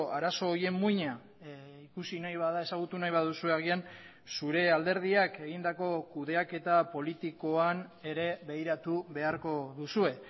arazo horien muina ikusi nahi bada ezagutu nahi baduzue agian zure alderdiak egindako kudeaketa politikoan ere begiratu beharko duzue